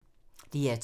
DR2